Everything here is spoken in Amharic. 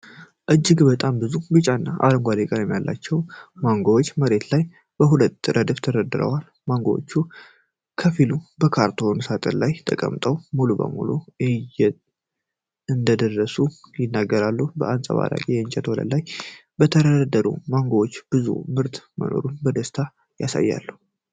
እጅግ በጣም ብዙ ቢጫና አረንጓዴ ቀለም ያላቸው ማንጎዎች፣ በመሬት ላይ በሁለት ረድፍ ተደርድረዋል። ማንጎዎቹ ከፊሉ በካርቶን ሳጥን ላይ ተቀምጠው፣ ሙሉ በሙሉ እንደደረሱ ይናገራሉ። በአንጸባራቂ የእንጨት ወለል ላይ የተደረደሩት ማንጎዎች፣ ብዙ ምርት መኖሩን በደስታ ያሳያሉ።